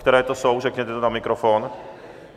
Které to jsou, řekněte to na mikrofon.